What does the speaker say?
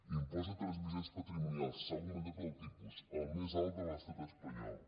impost de transmissions patrimonials s’ha augmentat el tipus el més alt de l’estat espanyol